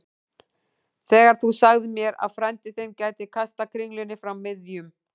Þegar þú sagðir mér að frændi þinn gæti kastað kringlunni frá miðjum